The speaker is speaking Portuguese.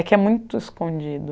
É que é muito escondido.